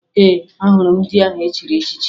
Ee, ahụrụ m ndị ahụ e chiri echichi